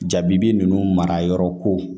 Jabi ninnu mara yɔrɔ ko